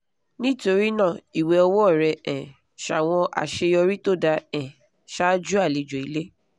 nítorí náà ìwẹ̀ ọwọ́ rẹ um ṣàwọn àṣeyọrí tó dáa um ṣáájú àlejò ilé